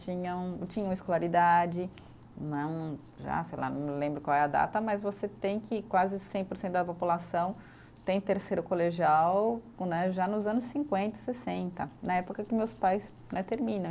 Tinha um, tinha uma escolaridade né um já, sei lá, não lembro qual é a data, mas você tem que quase cem por cento da população tem terceiro colegial com né, já nos anos cinquenta, sessenta, na época que meus pais né terminam.